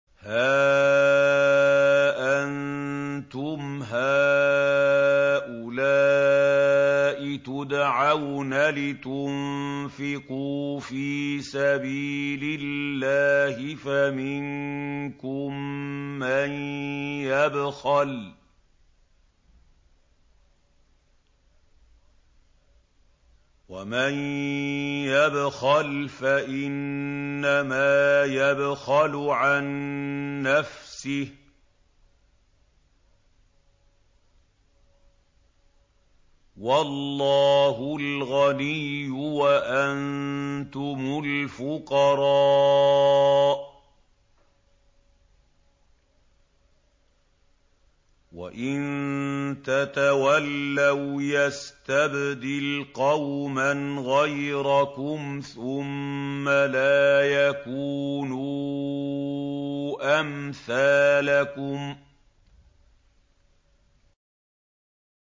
هَا أَنتُمْ هَٰؤُلَاءِ تُدْعَوْنَ لِتُنفِقُوا فِي سَبِيلِ اللَّهِ فَمِنكُم مَّن يَبْخَلُ ۖ وَمَن يَبْخَلْ فَإِنَّمَا يَبْخَلُ عَن نَّفْسِهِ ۚ وَاللَّهُ الْغَنِيُّ وَأَنتُمُ الْفُقَرَاءُ ۚ وَإِن تَتَوَلَّوْا يَسْتَبْدِلْ قَوْمًا غَيْرَكُمْ ثُمَّ لَا يَكُونُوا أَمْثَالَكُم